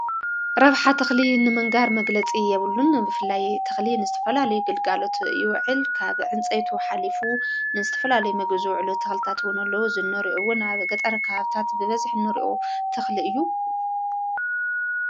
ረብሐ ትኽሊ ንመንጋር መግለጺ የብሉን ብፍላይ ትኽሊ ንስተፈላልይ ግልጋሎት ይውዕል ካብ ዕንፀይቶ ኃሊፉ ንስትፈላለይ መግዝ ዕሉ ተኽልታትውነሎ ዝኑርኡውን ኣብገጠረ ክሃብታት ብበዝሕ ኑርኦ ተኽሊ እዩ::